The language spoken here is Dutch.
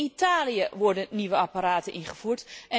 In Italië worden nieuwe apparaten ingevoerd.